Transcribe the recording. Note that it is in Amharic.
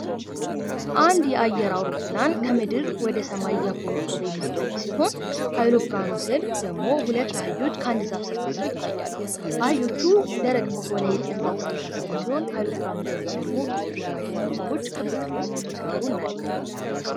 አንድ የአየር አውሮፕላን ከምድር ወደ ሰማይ እያኮበኮበ የሚታይ ሲሆን ከአውሮፕላኑ ስር ደግሞ ሁለት አህዮች ከዛፍ ስር ታስረው ይታያሉ። አህዮቹ ደረቅ በሆነ የጽድ ዛፍ ስር የታሰሩ ሲሆን ከአውሮፕላኑ ጀርባ ደግሞ ጥቂት የማይባሉ ሰዎች ክብ ክብ ሰርተው ሲያወሩ እናያለን።